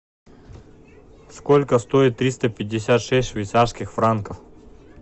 сколько стоит триста пятьдесят шесть швейцарских франков